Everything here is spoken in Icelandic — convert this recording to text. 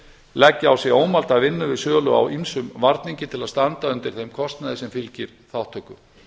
leggja á sig ómælda vinnu við sölu á ýmsum varningi til að standa undir þeim kostnaði sem fylgir þátttöku